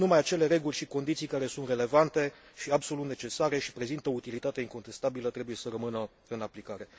Numai acele reguli și condiții care sunt relevante și absolut necesare și prezintă utilitate incontestabilă trebuie să rămână în aplicare.